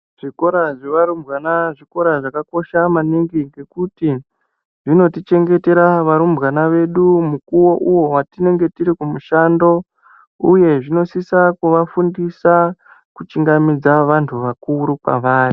Zvikora zvevarumbwana zvikora zvakakosha maningi ngekuti zvinotichengetera varumbwana vedu mukuwo uwo watinge tiri kumushando uye zvinosisa kuvafundisa kuchingamidza vandu vakuru kwavari.